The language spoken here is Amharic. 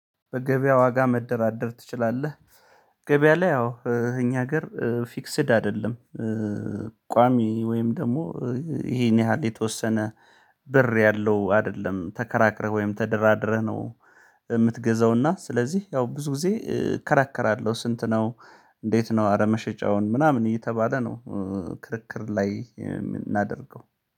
በገበያ ዋጋ መደራደር ትችላለህ? ገበያ ላይ ያው እኛ ሀገር ፊክስድ አይደለም ቋሚ ወይም ደግሞ ይሄን ያህል የተወሰነ ብር ያለው አይደለም ተከራክረህ ወይም ተደራድረህ ነው የምትገዛው እና ስለዚህ ያው ብዙ ጊዜ እከራከራለሁ ስንት ነው እንዴት ነው አረ መሸጫውን ምናምን እየተባለ ነው ክርክር ላይ የምናደርገው